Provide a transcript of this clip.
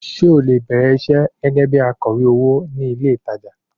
Ṣé o lè bẹ̀rẹ̀ iṣẹ́ gẹ́gẹ́ bí akọ̀wé owó ní ilé ìtajà?